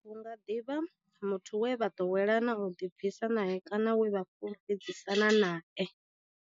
Hu nga ḓi vha muthu we vha ḓowela u ḓibvisa nae kana we vha fhulufhedzisana nae.